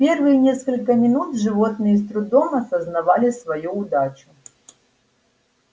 первые несколько минут животные с трудом осознавали свою удачу